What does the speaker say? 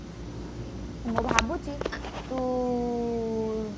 ମୁଁ ଭାବୁଛି ତୁ